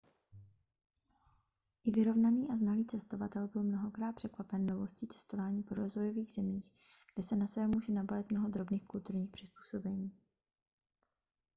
i vyrovnaný a znalý cestovatel byl mnohokrát překvapen novostí cestování po rozvojových zemích kde se na sebe může nabalit mnoho drobných kulturních přizpůsobení